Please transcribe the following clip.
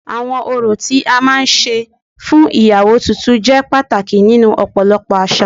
Awọn orò tí a máa ń ṣe fún iyawo tuntun jẹ pàtàkì nínú ọ̀pọ̀lọpọ̀ àṣà